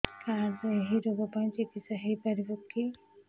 card ରେ ଏଇ ରୋଗ ପାଇଁ ଚିକିତ୍ସା ହେଇପାରିବ କି